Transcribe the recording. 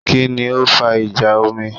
Kí ni ó fa ìjà omi?